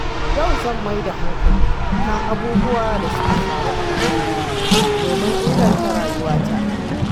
Yau zan mai da hankali kan abubuwan da suka faru a baya domin inganta rayuwata.